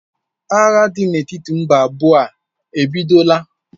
Agha dị n'etiti mba abụọ a ebidola?